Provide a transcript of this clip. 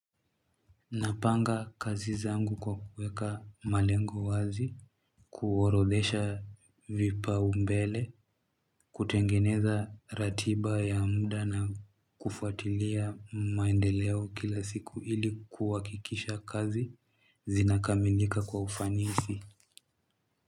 Napanga kazi zangu kwa kuweka malengo wazi kuorodhesha vipaumbele kutengeneza ratiba ya muda na kufuatilia maendeleo kila siku ili kuwakikisha kazi zinakamilika kwa ufanisi.